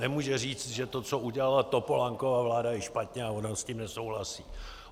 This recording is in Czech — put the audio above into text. Nemůže říct, že to, co udělala Topolánkova vláda, je špatně a ona s tím nesouhlasí.